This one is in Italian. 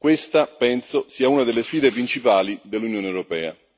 Questa, penso, sia una delle sfide principali dell'Unione europea.